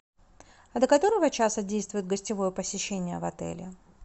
а до которого часа действует гостевое посещение в отеле